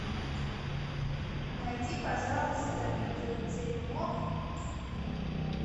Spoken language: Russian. найди пожалуйста видео теремок